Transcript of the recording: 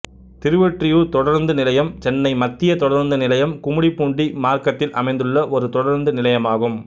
திருவொற்றியூர் தொடருந்து நிலையம் சென்னை மத்திய தொடருந்து நிலையம் கும்மிடிப்பூண்டி மார்கத்தில் அமைந்துள்ள ஒரு தொடருந்து நிலையமாகும்